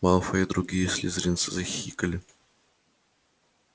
малфой и другие слизеринцы захихикали